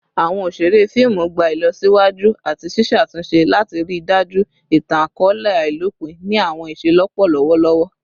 Awọn oṣere fiimu gba ilọsiwaju ati ṣiṣatunṣe lati rii daju itan-akọọlẹ ailopin ni awọn iṣelọpọ lọwọlọwọ